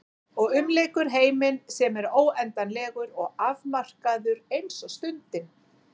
Og umlykur heiminn sem er óendanlegur og afmarkaður eins og stundin.